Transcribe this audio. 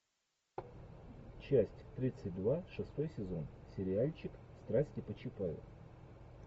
часть тридцать два шестой сезон сериальчик страсти по чапаю